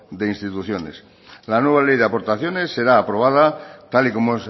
de instituciones la nueva ley de aportaciones será aprobada tal y como